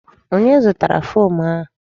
Onye zụtara fom a?